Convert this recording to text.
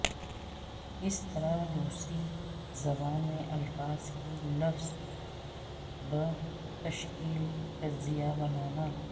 کس طرح روسی زبان میں الفاظ کی لفظ بہ تشکیل تجزیہ بنانا